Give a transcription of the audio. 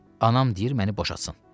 Anam deyir məni boşatsın.